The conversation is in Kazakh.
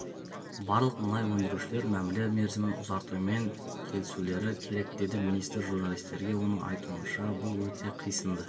барлық мұнай өндіріушілер мәміле мерзімін ұзартумен келісулері керек деді министр журналистерге оның айтуынша бұл өте қисынды